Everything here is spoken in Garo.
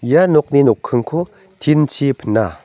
ia nokni nokkingko tin-chi pina.